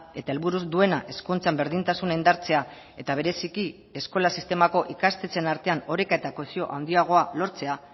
eta helburuz duena hezkuntzan berdintasuna indartzea eta bereziki eskola sistemako ikastetxeen artean oreka eta kohesio handiagoa lortzea